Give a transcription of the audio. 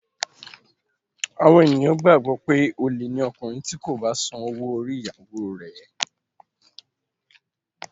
Àwọn ènìyàn gbàgbọ́ pé olè ni ọkùnrin tí kò bá san owó orí ìyàwóo rẹ̀.